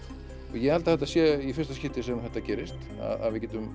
ég held að þetta sé í fyrsta skiptið sem þetta gerist að við getum